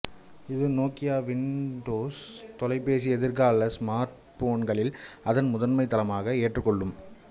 இது Nokia Windows தொலைபேசியை எதிர்கால ஸ்மார்ட்போன்களில் அதன் முதன்மை தளமாக ஏற்றுக்கொள்ளும்